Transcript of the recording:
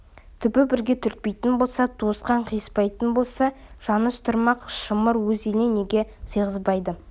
түбі бірге түртпейтін болса туысқан қиыспайтын болса жаныс тұрмақ шымыр өз еліне неге сыйғызбады